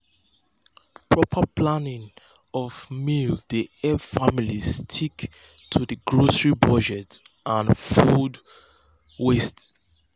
proper planning of meals dey help families stick to dir grocery budget and cut food waste.